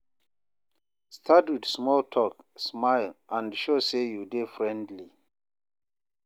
Start with small talk, smile, and show say you dey friendly.